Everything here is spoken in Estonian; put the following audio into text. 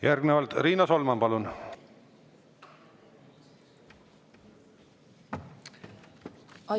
Järgnevalt Riina Solman, palun!